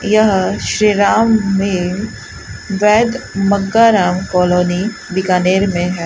यह श्री राम में वैद्य मक्काराम कॉलोनी बीकानेर मे है।